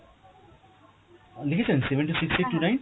লিখেছেন seven two six eight two nine